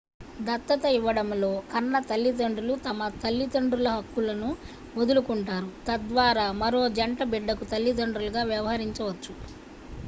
దత్తత ఇవ్వడంలో కన్న తల్లిదండ్రులు తమ తల్లిదండ్రుల హక్కులను వదులుకుంటారు తద్వారా మరో జంట బిడ్డకు తల్లిదండ్రులుగా వ్యవహరించవచ్చు